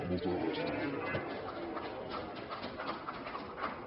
moltes gràcies